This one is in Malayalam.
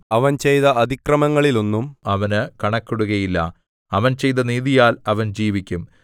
അവൻ ചെയ്ത അതിക്രമങ്ങളിൽ ഒന്നും അവന് കണക്കിടുകയില്ല അവൻ ചെയ്ത നീതിയാൽ അവൻ ജീവിക്കും